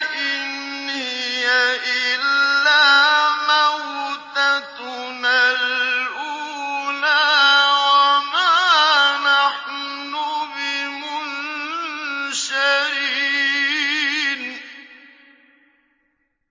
إِنْ هِيَ إِلَّا مَوْتَتُنَا الْأُولَىٰ وَمَا نَحْنُ بِمُنشَرِينَ